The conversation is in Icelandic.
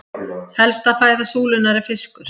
helsta fæða súlunnar er fiskur